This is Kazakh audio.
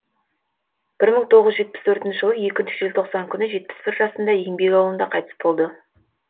бір мың тоғыз жүз жетпіс төртінші жылы екінші желтоқсан күні жетпіс бір жасында еңбек ауылында қайтыс болды